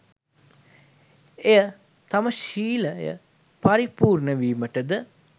එය තම ශීලය පරිපූර්ණ වීමටද